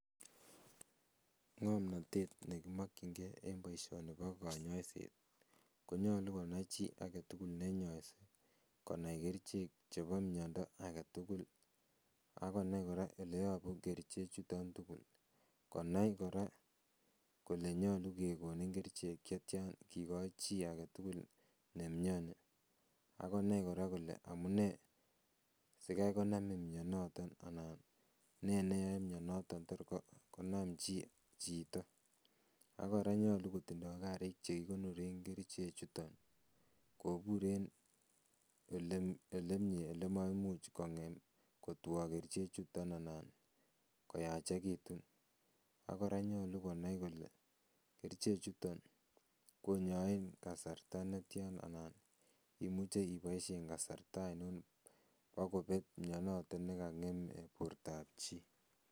Ngomnatet ne kimakyinge en boisioni bo kanyaiset ii, konyalu konai chiagetugul ne nyaise, konai keriche chebo miando agetugul ak konai kora oleyabu kerichechuton tugul. Konai kora kole nyalu kegonin kerichek che tian, kigoi chi agetugul ne miani, ak konai kora kole amune sigai konamin mianotok anan ne neyoe mianotok torko, konam chi, chito. Ak kora konyalu kotinye karik che kigonoren kerichechuton kobur en ole, olemie olemaimuch kongem, kotwo kerichechuton anan koyachegitun. Ak kora konyalu konai kole kerichechuton konyaen kasarta netian anan imuche ubaisien kasarta ainon bo kobek mianoto ne kangeme bortab chi.